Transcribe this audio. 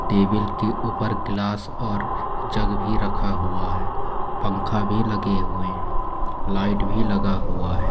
Table के ऊपर गिलास और जग भी रखा हुआ है पंखा भी लगे हुए हैं लाइट भी लगा हुआ है।